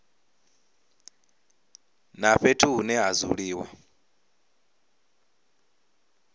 na fhethu hune ha dzuliwa